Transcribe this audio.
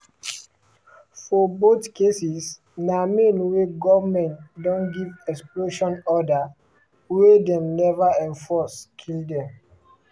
for both cases na men wey goment don give expulsion order wey dem never enforce kill dem.